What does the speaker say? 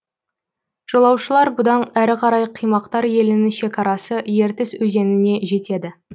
жолаушылар бұдан әрі қарай қимақтар елінің шекарасы ертіс өзеніне жетеді